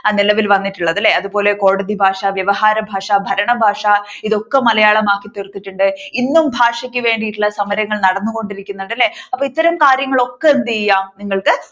നിലവിൽ വന്നിട്ടുള്ളത് അല്ലേ. അതുപോലെ കോടതി ഭാഷ വ്യവഹാരഭാഷ ഭരണഭാഷ ഇതൊക്കെ മലയാളം ആക്കി തീർത്തിട്ടുണ്ട്. ഇന്നും ഭാഷയ്ക്ക് വേണ്ടിയിട്ടുള്ള സമരങ്ങൾ നടന്നുകൊണ്ടിരിക്കുന്നുണ്ട് അല്ലേ അപ്പൊ ഇത്തരം കാര്യങ്ങളൊക്കെ എന്തയാം നിങ്ങൾക്ക് ഇവിടെ